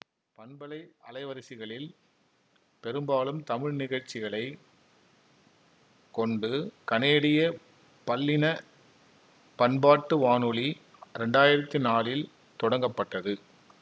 பண்பலை அலைவரிசையில் பெரும்பாலும் தமிழ் நிகழ்சிகளைக் கொண்டு கனேடிய பல்லினப்பண்பாட்டு வானொலி இரண்டாயிரத்தி நாலில் தொடங்க்ப்பட்டது